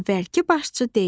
Əvvəlki başçı deyir: